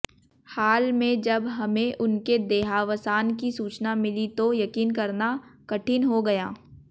हाल में जब हमें उनके देहावसान की सूचना मिली तो यकीन करना कठिन हो गया